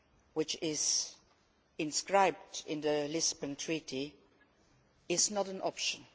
which is enshrined in the Lisbon Treaty, is not an option.